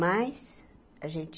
Mas a gente